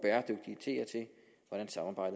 og